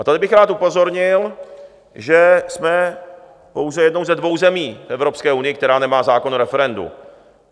A tady bych rád upozornil, že jsme pouze jednou ze dvou zemí Evropské unie, která nemá zákon o referendu.